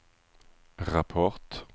rapport